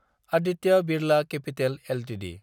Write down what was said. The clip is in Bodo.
Aditya Birla capital Ltd